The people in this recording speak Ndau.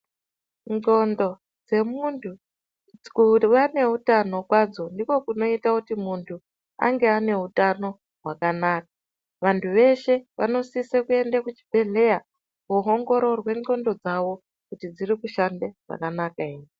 Ndxondo dzemuntu kuwa neutano kwadzo ndiko kunoita kuti muntu ange aneutano hwakanaka. Vantu veshe vanosise kuenda kuchibhedhleya koongororwa ndxondo dzawo kuti dzinoshanda zvakanaka ere.